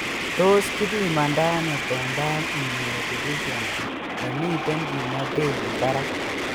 Tos kipimandano combined immunodeficiency nemiten kimnotenyin barak?